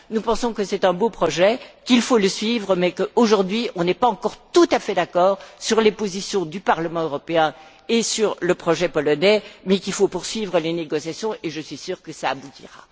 nous pensons que c'est un beau projet, qu'il faut le poursuivre, mais qu'aujourd'hui, on n'est pas encore tout à fait d'accord sur les positions du Parlement européen et sur le projet polonais. Mais il faut poursuivre les négociations, et je suis sûre que cela aboutira.